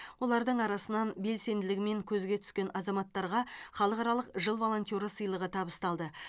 олардың арасынан белсенділігімен көзге түскен азаматтарға халықаралық жыл волонтеры сыйлығы табысталды